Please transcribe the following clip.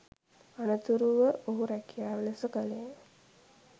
අනතුරුව ඔහු රැකියාව ලෙස කළේ